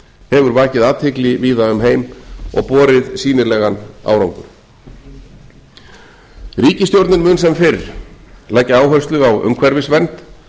hefur vakið athygli víða um heim og borið sýnilegan árangur ríkisstjórnin mun sem fyrr leggja áherslu á umhverfisvernd